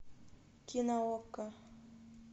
кино окко